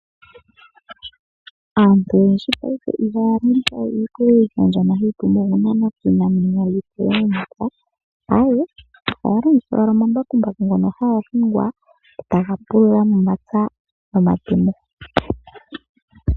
Aantu oyendji paife ihaya longitha we iipululo mbyono hayi pumbwa okunanwa koonani okulonga omapya, aawe, ohaya longitha owala omambakumbaku ngono haga hingwa, taga pulula momapya nomatemo.